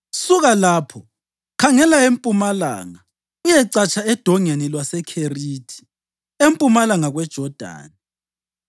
“Suka lapho, khangela empumalanga uyecatsha eDongeni lwaseKherithi, empumalanga kweJodani.